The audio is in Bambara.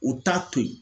U t'a to yen